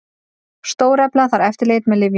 Stórefla þarf eftirlit með lyfjum